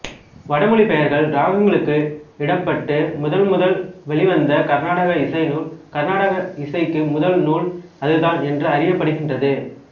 வடமொழிப் பெயர்கள் இராகங்களுக்கு இடப்பட்டு முதல்முதல் வெளிவந்த கர்நாடக இசைநூல் கர்நாடக இசைக்கு முதல்நூல் அதுதான் என்று அறியப்படுகின்றது